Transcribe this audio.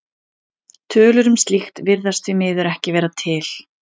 Tölur um slíkt virðast því miður ekki vera til.